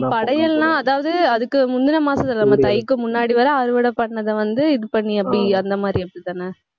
படையல்லாம் அதாவது, அதுக்கு முந்துன மாசம் நம்ம தைக்கு முன்னாடி வரை அறுவடை பண்ணதை வந்து இது பண்ணி அப்படி, அந்த மாதிரி அப்படித்தானே